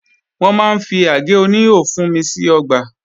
Wọ́n máa ń fi àgé oníhò fúnmi sí ọgbà